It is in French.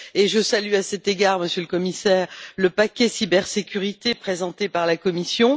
Je salue, à cet égard, Monsieur le Commissaire, le paquet cybersécurité, présenté par la Commission.